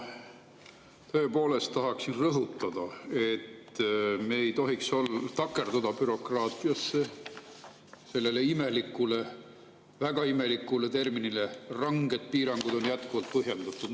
Ma tõepoolest tahan rõhutada, et me ei tohiks takerduda bürokraatiasse, sellesse imelikku, väga imelikku: ranged piirangud on jätkuvalt põhjendatud.